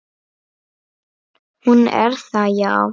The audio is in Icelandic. Hún er það, já.